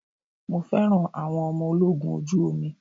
Mo fẹ́ràn àwọn ọmọ ológun ojú omi.